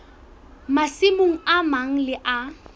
masimong a mang le a